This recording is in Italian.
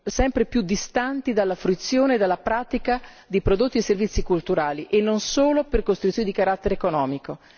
sempre più distanti dalla fruizione e dalla pratica di prodotti e servizi culturali, e non solo per costrizioni di carattere economico.